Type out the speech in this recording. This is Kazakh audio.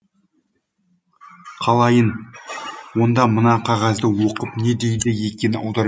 қалайын онда мына қағазды оқып не дейді екен аударып